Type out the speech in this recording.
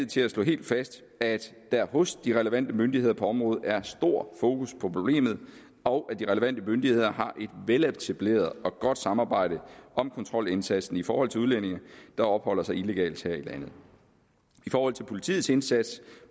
til at slå helt fast at der hos de relevante myndigheder på området er stor fokus på problemet og at de relevante myndigheder har et veletableret og godt samarbejde om kontrolindsatsen i forhold til udlændinge der opholder sig illegalt her i landet i forhold til politiets indsats